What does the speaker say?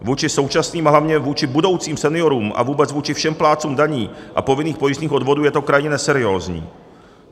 Vůči současným, ale hlavně vůči budoucím seniorům a vůbec vůči všem plátcům daní a povinných pojistných odvodů je to krajně neseriózní.